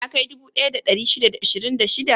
Ya kai dubu ɗaya da ɗari shida da ashirin da shida?